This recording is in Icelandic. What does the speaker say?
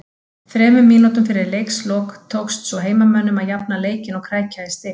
Þremur mínútum fyrir leiks lok tókst svo heimamönnum að jafna leikinn og krækja í stig